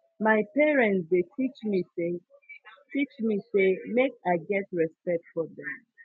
my parents dey teach me sey teach me sey make i get respect for dem